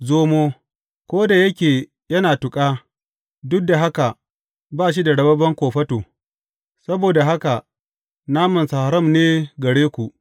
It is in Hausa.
Zomo, ko da yake yana tuƙa, duk da haka ba shi da rababben kofato; saboda haka namansa haram ne gare ku.